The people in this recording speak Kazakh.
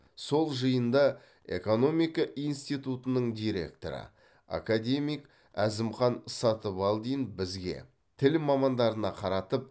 сол жиында экомика институтының директоры академик әзімхан сатыбалдин бізге тіл мамандарына қаратып